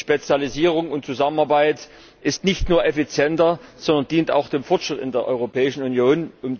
Spezialisierung und Zusammenarbeit ist nicht nur effizienter, sondern dient auch dem Fortschritt in der Europäischen Union.